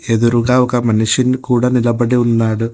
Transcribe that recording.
ఎదురుగా ఒక మనిషిని కూడా నిలబడి ఉన్నాడు.